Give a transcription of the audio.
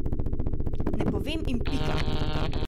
Ne povem in pika!